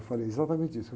Eu falei exatamente isso.